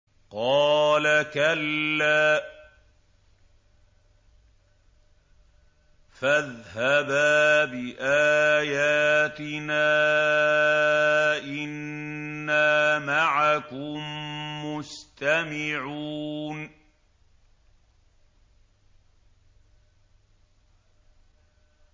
قَالَ كَلَّا ۖ فَاذْهَبَا بِآيَاتِنَا ۖ إِنَّا مَعَكُم مُّسْتَمِعُونَ